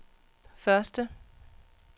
første